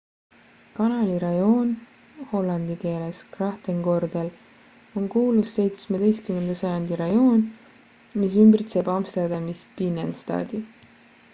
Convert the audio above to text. kanali rajoon hollandi keeles grachtengordel on kuulus 17. sajandi rajoon mis ümbritseb amsterdamis binnenstadi